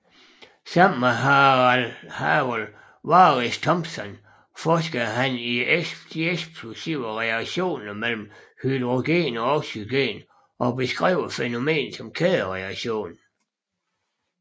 Sammen med Harold Warris Thompson forskede han i de eksplosive reaktion mellem hydrogen og oxygen og beskrev fænomenet kædereaktion